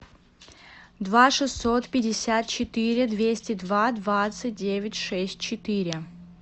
два шестьсот пятьдесят четыре двести два двадцать девять шесть четыре